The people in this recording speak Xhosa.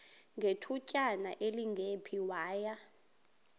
ngethutyana elingephi waya